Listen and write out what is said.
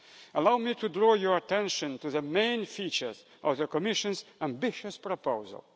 Allow me to draw your attention to the main features of the Commission's ambitious proposal.